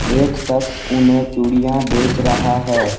एक शख्स उन्हें चुड़ियां बेच रहा है।